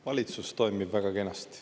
Valitsus toimib väga kenasti.